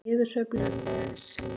Í takt við niðursveiflu liðsins.